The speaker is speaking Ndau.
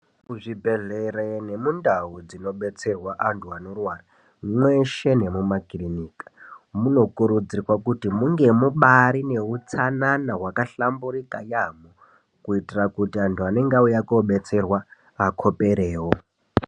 Muzvibhedhlera nemundawu dzinobetserwe antu anorwara mweshe nemumakiriniki, munokurudzirwe kuti mubeari neutsanana hwakahlamburuka, kuitira kuti antu anenge auya koobetserwa akhoperewo.